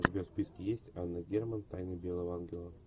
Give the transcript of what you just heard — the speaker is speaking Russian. у тебя в списке есть анна герман тайна белого ангела